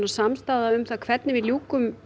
samstaða um hvernig við ljúkum